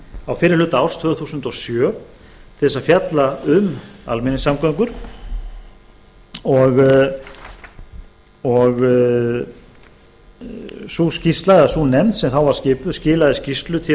á fyrri hluta árs tvö þúsund og sjö til að fjalla um almenningssamgöngur og sú skýrsla eða sú nefnd sem þá var skipuð skilaði skýrslu til